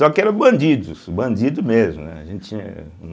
Só que eram bandidos, bandidos mesmo, né, a gente tinha.